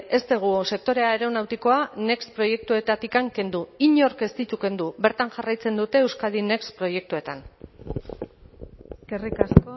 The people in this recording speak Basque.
ez dugu sektore aeronautikoa next proiektuetatik kendu inork ez ditu kendu bertan jarraitzen dute euskadi next proiektuetan eskerrik asko